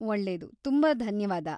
ಒಳ್ಳೇದು! ತುಂಬಾ ಧನ್ಯವಾದ.